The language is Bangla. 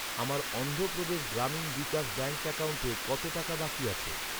আমার অন্ধ্রপ্রদেশ গ্রামীণ বিকাশ ব্যাঙ্ক অ্যাকাউন্টে কত টাকা বাকি আছে?